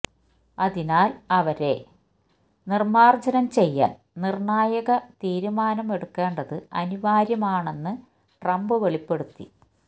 അതിനാല് അവരെ നിര്മാര്ജനം ചെയ്യാന് നിര്ണായക തീരുമാനം എടുക്കേണ്ടത് അനിവാര്യമാണെന്ന് ട്രംപ് വെളിപ്പെടുത്തി